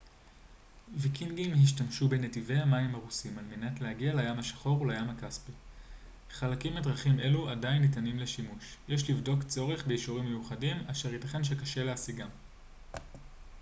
ויקינגים השתמשו בנתיבי המים הרוסים על-מנת להגיע לים השחור ולים הכספי חלקים מדרכים אלו עדיין ניתנים לשימוש יש לבדוק צורך באישורים מיוחדים אשר ייתכן שקשה להשיגם